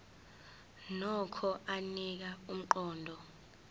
nokho anika umqondo